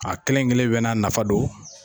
A kelen kelen bɛ n'a nafa don.